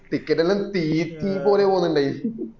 ticket എല്ലൊം speeching പോലെ പൊന്നുണ്ടായേനെ